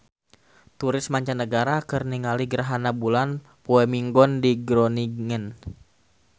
Turis mancanagara keur ningali gerhana bulan poe Minggon di Groningen